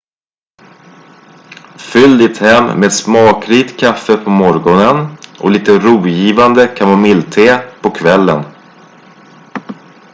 fyll ditt hem med smakrikt kaffe på morgonen och lite rogivande kamomillte på kvällen